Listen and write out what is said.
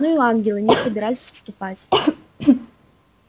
но и ангелы не собирались отступать